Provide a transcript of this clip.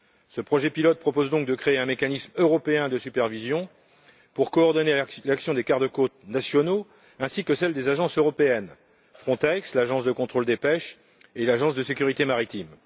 Ce projet pilote propose donc de créer un mécanisme européen de supervision pour coordonner l'action des garde côtes nationaux ainsi que celle des agences européennes Frontex, l'Agence de contrôle des pêches et l'Agence pour la sécurité maritime.